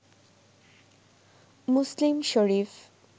Muslim Sharif